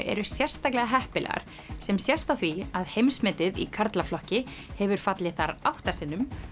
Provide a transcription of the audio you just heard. eru sérstaklega heppilegar sem sést á því að heimsmetið í karlaflokki hefur fallið þar átta sinnum